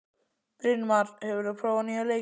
Brynmar, hefur þú prófað nýja leikinn?